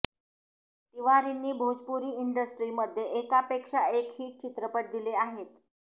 तिवारींनी भोजपुरी इंडस्ट्रीमध्ये एकापेक्षा एक हिट चित्रपट दिले आहेत